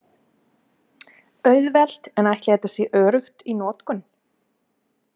Auðvelt en ætli þetta sé öruggt í notkun?